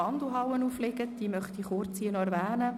Ich möchte sie noch kurz erwähnen: